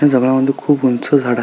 ह्या जंगला मध्ये खूप उंच झाड आ--